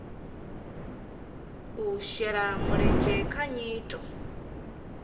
u shela mulenzhe kha nyito